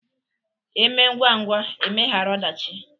Eme ngwa ngwa emehara ọdachị.